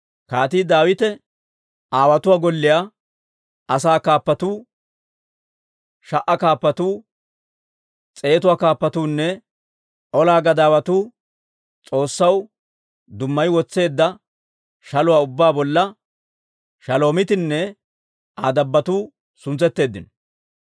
Kaatii Daawite, aawotuwaa golliyaa asaa kaappatuu, sha"a kaappatuu, s'eetuwaa Kaappatuunne ola gadaawatuu S'oossaw dummayi wotseedda shaluwaa ubbaa bolla Shalomiitinne Aa dabbotuu suntsetteeddino.